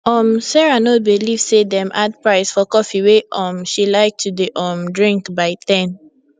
um sarah no believe say dem add price for coffee wey um she like to dey um drink by 10